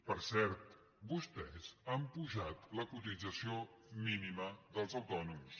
per cert vostès han apujat la cotització mínima dels autònoms